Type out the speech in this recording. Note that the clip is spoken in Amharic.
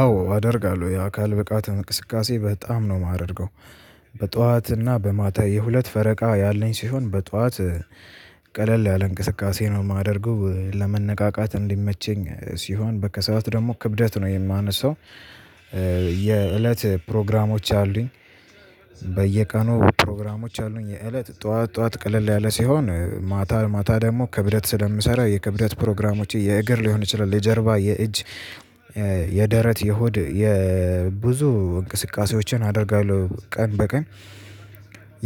አዎ አደርጋለሁ። የአካል ብቃት እንግስካሴ በጣም ነው ማደርገው። በጦአት እና በማታ የሁለት ፈረቃ ያለኝ ሲሆን በጦአት ቀለል ያለ እንቅስቃሴ ነው ማደርጉ። ለመነቃቃት እንዲመችኝ ሲሆን በከሰንት ደግሞ ክብደት ነው የማነሳው። የእለት ፕሮግራሞች አለውኝ። በየቀኑ ፕሮግራሞች አለውኝ። የእለት ጦአት ጦአት ቀለል ያለ ሲሆን ማታ ማታ ደግሞ ክብደት ስለምሰራ የክብደት ፕሮግራሞች የእግር ሊሆን ይችላል፣ ለጀርባ፣ የእጅ፣ የደረት፣ የሁድ የብዙ እንቅስቃሴዎችን አደርጋለሁ ቀን በቀን።